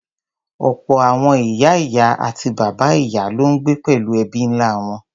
Ọ̀pọ̀ àwọn ìyá-ìyá àti bàbá-ìyá ló ń gbé pẹ̀lú ẹbí ńlá wọn.